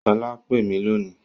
Sola pè mí lónìí